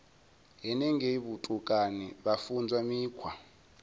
henengei vhutukani vha funzwa mikhwa